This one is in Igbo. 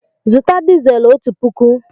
Zụta dizel ọtu pụkụ!